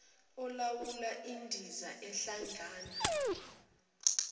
olawula indiza ehlangana